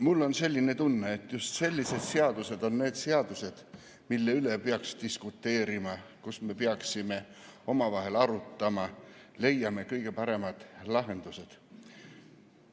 Mul on selline tunne, et just sellised seadused on need seadused, mille üle me peaksime diskuteerima, peaksime omavahel arutama, leidma kõige paremad lahendused.